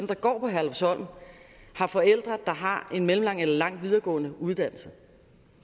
der går på herlufsholm har forældre der har en mellemlang eller lang videregående uddannelse